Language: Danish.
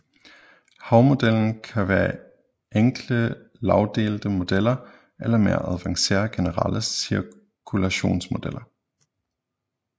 Havmodellen kan være enkle lagdelte modeller eller mere avancerede generelle cirkulationsmodeller